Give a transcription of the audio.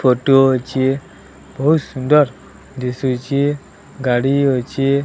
Photo ଅଛି ବହୁତ୍ ସୁନ୍ଦର ଦିଶୁଛି ଗାଡ଼ି ଅଛି।